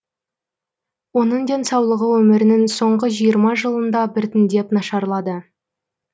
оның денсаулығы өмірінің соңғы жиырма жылында біртіндеп нашарлады